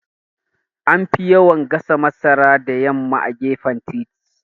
Anfi yawan gasa masara da yamma a gefen titi